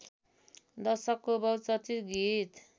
दशकको बहुचर्चित गीत